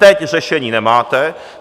Teď řešení nemáte.